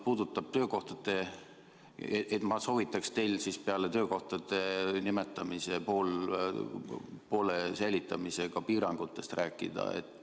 Aga ma soovitan teil peale poolte töökohtade säilitamise ka piirangutest rääkida.